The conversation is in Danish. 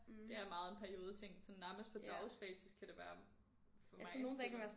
Det er meget en periodeting sådan nærmest på dagsbasis